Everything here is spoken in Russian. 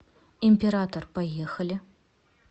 император поехали